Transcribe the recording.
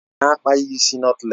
Nne ya na-akpa ya ịsị nọtlés